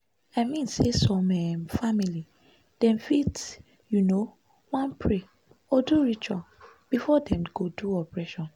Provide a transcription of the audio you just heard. i mean say some um family dem fit u know want pray or do ritual before dem go do operation